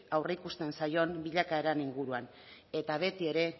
aurreikusten zaion bilakaeraren inguruan eta betiere